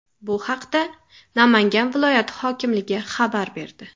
Bu haqda Namangan viloyati hokimligi xabar berdi .